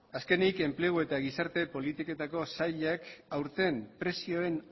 azkenik enplegu eta gizarte politiketako sailak aurten prezioen